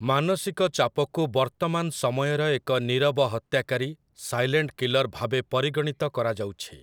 ମାନସିକ ଚାପକୁ ବର୍ତ୍ତମାନ ସମୟର ଏକ ନିରବ ହତ୍ୟାକାରୀ, ସାଇଲେଣ୍ଟ କିଲର୍, ଭାବେ ପରିଗଣିତ କରାଯାଉଛି ।